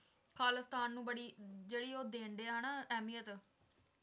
ਖਾਲਿਸਤਾਨ ਨੂੰ ਬੜੀ ਜਿਹੜੀ ਉਹ ਦਿੰਦੇ ਹੈ ਨਾ ਅਹਿਮੀਅਤ